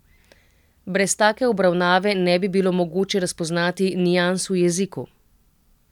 Brez take obravnave ne bi bilo mogoče razpoznati nians v jeziku.